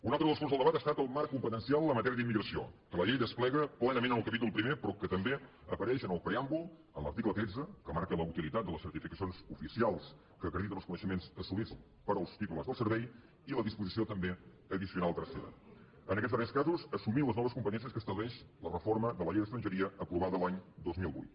un altre dels punts del debat ha estat el marc competencial en la matèria d’immigració que la llei desplega plenament en el capítol primer però que també apareix en el preàmbul en l’article tretze que marca la utilitat de les certificacions oficials que acrediten els coneixements assolits pels titulars del servei i la disposició també addicional tercera en aquests darrers casos assumint les noves competències que estableix la reforma de la llei d’estrangeria aprovada l’any dos mil vuit